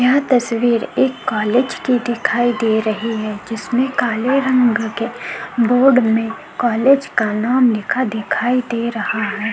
यह तस्वीर एक कॉलेज की दिखाई दे रही है. जिसने काले रंग के बोर्ड में कॉलेज का नाम लिखा दिखाई दे रहा है।